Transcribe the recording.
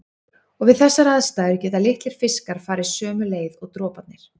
Og við þessar aðstæður geta litlir fiskar farið sömu leið og droparnir.